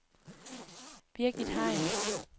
Birgit Hein